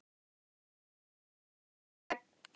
Noregs, Ólaf Tryggvason og Ólaf helga.